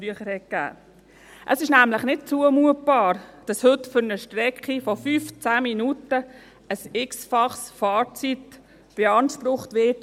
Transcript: Es ist nämlich nicht zumutbar, dass heute für eine Strecke von 5, 10 Minuten eine x-fache Fahrzeit beansprucht wird.